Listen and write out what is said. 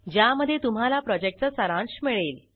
ज्यामध्ये तुम्हाला प्रॉजेक्टचा सारांश मिळेल